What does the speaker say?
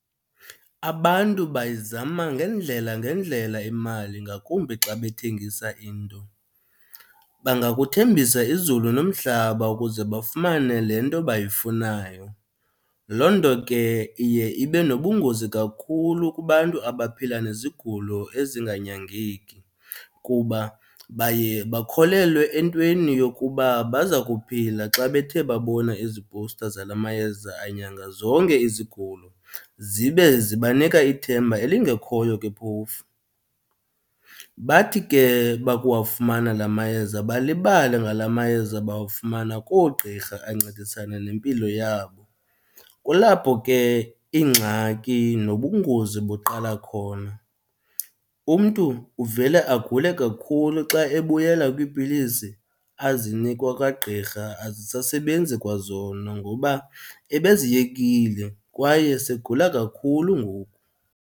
Abantu bayizama ngeendlela ngeendlela imali, ngakumbi xa bethengisa into. Bangakuthembisa izulu nomhlaba ukuze bafumane le nto bayifunayo. Loo nto ke iye ibe nobungozi kakhulu kubantu abaphila nezigulo ezinganyangeki, kuba baye bakholelwe entweni yokuba baza kuphila xa bethe babona ezipowusta zala mayeza anyanga zonke izigulo, zibe zibanika ithemba elingekhoyo ke phofu. Bathi ke bakuwafumana la mayeza balibale ngala mayeza bawafumana koogqirha ancedisana nempilo yabo, kulapho ke ingxaki nobungozi buqala khona. Umntu uvele agule kakhulu xa ebuyela kwiipilisi azinikwa kwagqirha, azisasebenzi kwazona ngoba ebeziyekile kwaye segula kakhulu ngoku.